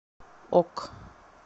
ок